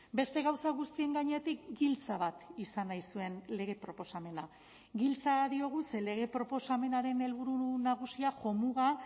beste gauza guztien gainetik giltza bat izan nahi zuen lege proposamena giltza diogu ze lege proposamenaren helburu nagusia jomuga